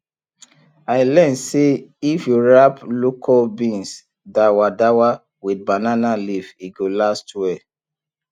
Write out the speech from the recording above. i learn say if you wrap locust bean dawadawa with banana leaf e go last well